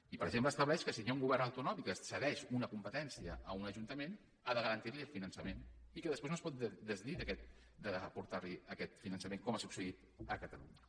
i per exemple estableix que si hi ha un govern autonòmic que cedeix una competència a un ajuntament ha de garantir li el finançament i que després no es pot desdir d’aportar li aquest finançament com ha succeït a catalunya